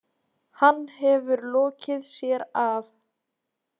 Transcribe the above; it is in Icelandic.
Hann hefur lokið sér af.